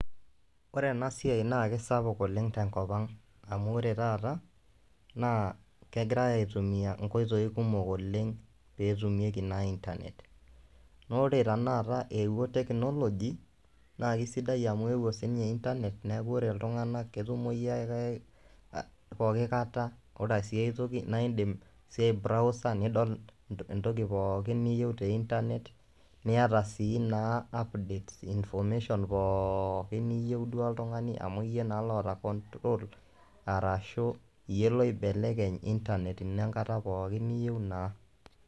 Ore enasiai naa kesapuk oleng tenkop ang'. Amu ore taata, naa kegirai aitumia inkoitoi kumok oleng petumieki naa Internet. Na ore tanakata eewuo technology, naa kesidai amu eewuo sinye Internet, neku ore iltung'anak, ketumoyu ake pooki kata, ore siai toki, na idim si ai browser nidol entoki pookin niyieu te Internet, niata si naa updates, information pookin niyieu duo oltung'ani, amu yie naa loota control ,arashu iyie loibelekeny Internet ino enkata pookin niyieu naa.